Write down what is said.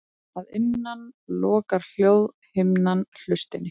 Að innan lokar hljóðhimnan hlustinni.